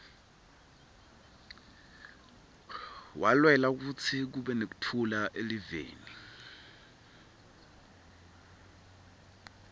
walwela kutsi kube nektfula eliveni